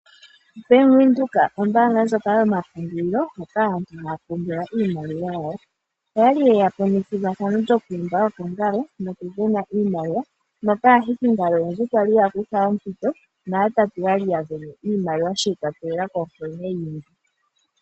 Bank Windhoek, ombaanga ndjoka yomapungulilo moka aantu haa pungula iimaliwa yawo, oyali yeya po nethigathano lyo ku imba okangalo noku vena iimaliwa moka aahikingalo oyendji yali ya kutha ompito na yatatu yali ya vena iimaliwa shi ikwatelela kunkene yi imbi.